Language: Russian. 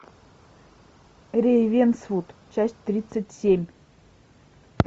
рейвенсвуд часть тридцать семь